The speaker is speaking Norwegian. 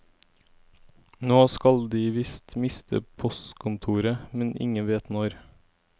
Nå skal de visst miste postkontoret, men ingen vet når.